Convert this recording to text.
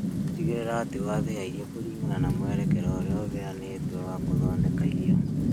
Tigĩrĩra atĩ wathĩa irio kũringana na mwerekera ũrĩa ũheanĩtwo wa gũthondeka irio.